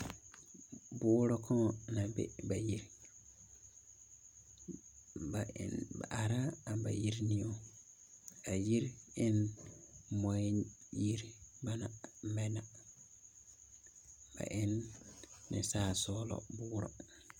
Noba la are bayiriniŋeŋ. A yiri waa la muɔyiri. A noba waa la niŋsɔglɔ.